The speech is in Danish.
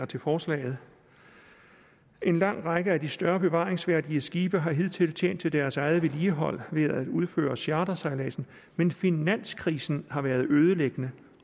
til forslaget en lang række af de større bevaringsværdige skibe har hidtil tjent til deres eget vedligehold ved at udføre chartersejladser men finanskrisen har været ødelæggende